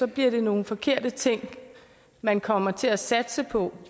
bliver det nogle forkerte ting man kommer til at satse på